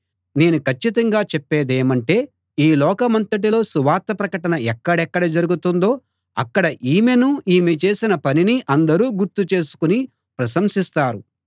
నేను కచ్చితంగా చెప్పేదేమంటే ఈ లోకమంతటిలో సువార్త ప్రకటన ఎక్కడెక్కడ జరుగుతుందో అక్కడ ఈమెనూ ఈమె చేసిన పనినీ అందరూ గుర్తు చేసుకుని ప్రశంసిస్తారు